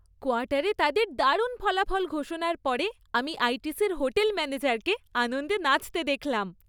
কোয়ার্টারে তাদের দারুণ ফলাফল ঘোষণার পর আমি আইটিসির হোটেল ম্যানেজারকে আনন্দে নাচতে দেখলাম।